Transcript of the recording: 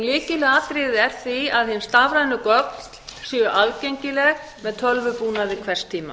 lykilatriði er því að hin stafrænu gögn séu ætíð aðgengileg með tölvubúnaði hvers tíma